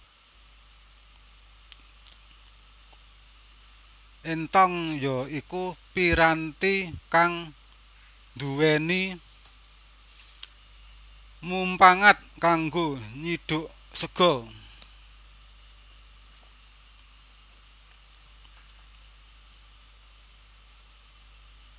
Éntong ya iku piranti kang dhuweni mumpangat kanggo nyidhuk sega